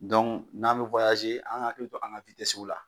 Dɔnku n'an bɛ an k'a hakilito.